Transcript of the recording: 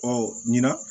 Ɔ ɲinan